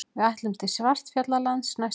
Við ætlum til Svartfjallalands næsta sumar.